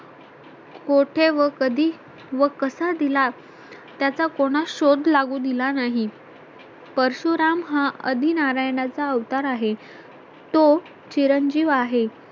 कोठे व कधी व कसा दिला त्याचा कोणास शोध लागू दिला नाही परशुराम हा आदि नारायणाचा अवतार आहे तो चिरंजीव आहे